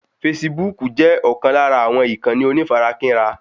Fesibúùkù jẹ́ ọ̀kan lára àwọn ìkànnì onífarakínra